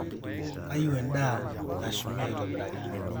keyieu endaa neshumi aitobiraki